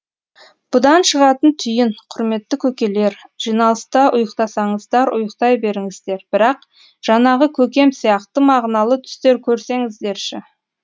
бұдан шығатын түйін құрметті көкелер жиналыста ұйықтасаңыздар ұйықтай беріңіздер бірақ жанағы көкем сияқты мағыналы түстер көрсеңіздерші